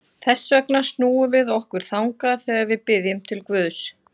Þess vegna snúum við okkur þangað þegar við biðjum til Guðs.